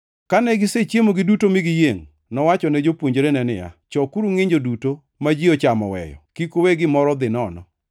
Kane gisechiemo giduto mi giyiengʼ, nowachone jopuonjrene niya, “Chokuru ngʼinjo duto ma ji ochamo oweyo. Kik uwe gimoro dhi nono.”